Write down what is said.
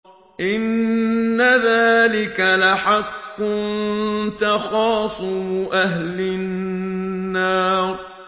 إِنَّ ذَٰلِكَ لَحَقٌّ تَخَاصُمُ أَهْلِ النَّارِ